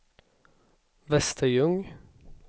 Västerljung